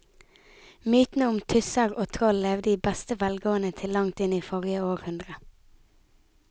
Mytene om tusser og troll levde i beste velgående til langt inn i forrige århundre.